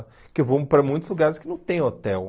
Porque eu vou para muitos lugares que não tem hotel.